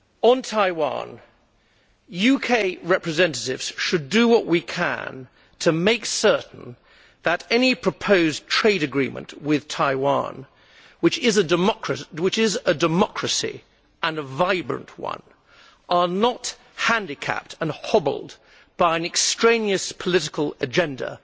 On Taiwan, UK representatives should do what we can to make certain that any proposed trade agreements with Taiwan which is a democracy and a vibrant one are not handicapped and hobbled by an extraneous political agenda